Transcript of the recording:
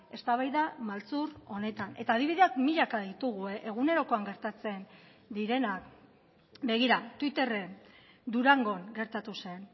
eztabaida maltzur honetan eta adibideak milaka ditugu egunerokoan gertatzen direnak begira twitterren durangon gertatu zen